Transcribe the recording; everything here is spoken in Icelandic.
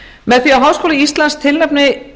með því að háskóli íslands tilnefni